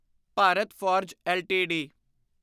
Bharat Forge LTD